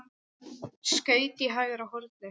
Skaut í hægra hornið.